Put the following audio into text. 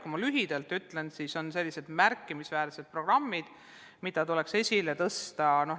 Kui ma lühidalt ütlen, siis on mõned märkimisväärsed programmid, mida tuleks esile tõsta.